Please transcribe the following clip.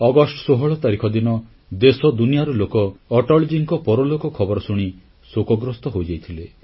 August 16 ତାରିଖ ଦିନ ଦେଶ ଦୁନିଆର ଲୋକ ଅଟଳଜୀଙ୍କ ପରଲୋକ ଖବର ଶୁଣି ଶୋକଗ୍ରସ୍ତ ହୋଇଯାଇଥିଲେ